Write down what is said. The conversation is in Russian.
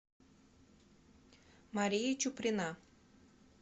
мария чуприна